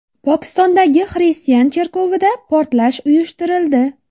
Pokistondagi xristian cherkovida portlash uyushtirildi.